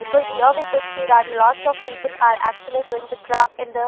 Because here we could see that lots of people are actually twelveth craft and the --